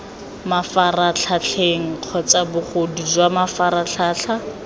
mafaratlhatlheng kgotsa bogodu jwa mafaratlhatlha